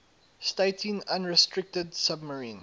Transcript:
stating unrestricted submarine